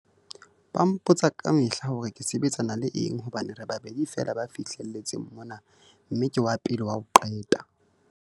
Ba mpotsa kamehla hore ke sebetsana le eng hobane re babedi feela ba fihle letseng mona mme ke wa pele wa ho qeta.